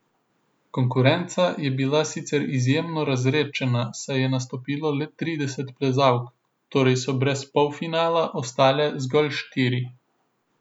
Konkurenca je bila sicer izjemno razredčena, saj je nastopilo le trideset plezalk, torej so brez polfinala ostale zgolj štiri.